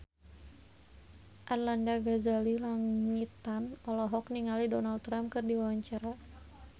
Arlanda Ghazali Langitan olohok ningali Donald Trump keur diwawancara